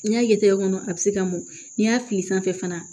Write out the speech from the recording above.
N'i y'a ye tɛ tɛgɛ kɔnɔ a bɛ se ka mɔn n'i y'a fili sanfɛ fana